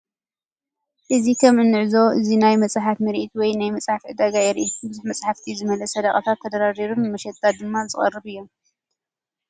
እዚ ከም እንዕዞቦ እዚ ናይ መጽሓፍ ምርኢት ወይ ናይ መጽሓፍ ዕዳጋ የርኢ። ብዙሕ መጻሕፍቲ ዝመልአ ሰደቓታት ተደራሪቡ ንመሸጣ ድማ ዝቐርብ እዮም።